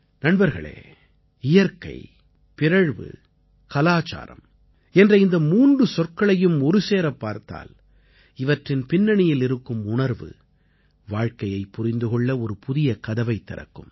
நண்பர்களே இயற்கை பிறழ்வு கலச்சாரம் என்ற இந்த மூன்று சொற்களையும் ஒருசேரப் பார்த்தால் இவற்றின் பின்னணியில் இருக்கும் உணர்வு வாழ்க்கையைப் புரிந்து கொள்ள ஒரு புதிய கதவைத் திறக்கும்